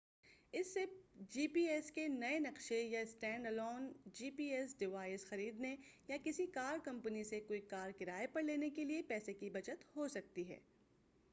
اس سے G P S کے نئے نقشے یا standalone G P S device خریدنے یا کسی کار کمپنی سے کوئی کار کرائے پر لینے کے پیسے کی بچت ہو سکتی ہے